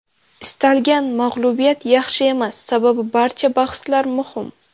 Istalgan mag‘lubiyat yaxshi emas, sababi barcha bahslar muhim.